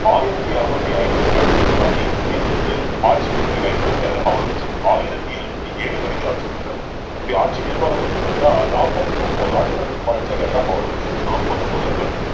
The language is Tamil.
ஆயிரத்தி அறுநூத்தி ஐம்பத்தி எட்டு தன் தந்தையை சிறை பிடித்து ஆட்சிப் பொறுப்பைக் கைப்பற்றி இருந்தாரு ஒளரங்கசீப் ஆயிரத்தி எழுநூத்தி ஏழு வரைக்கும் ஆட்சி பண்றார் இப்படி ஆட்சி நிர்வாகத்தை பத்தி பார்த்தீங்கன்னா நாற்பத்தி ஒன்பது ஆண்டுகள் நிர்மானிச்சாரு யார்னா ஒளரங்கசீப் நாற்பத்தி ஒன்பது ஆண்டுகள்